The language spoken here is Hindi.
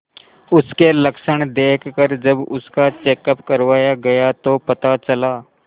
उसके लक्षण देखकरजब उसका चेकअप करवाया गया तो पता चला